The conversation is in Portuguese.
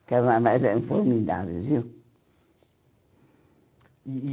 Os carnavais eram formidáveis, viu? E e